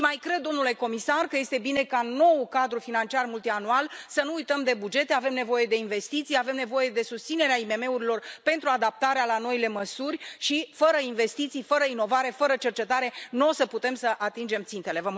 Și mai cred, domnule comisar, că este bine ca noul cadru financiar multianual să nu uităm de bugete să reflecte faptul că avem nevoie de investiții, avem nevoie de susținerea IMM urilor pentru adaptarea la noile măsuri, iar fără investiții, fără inovare, fără cercetare, nu o să putem să atingem țintele.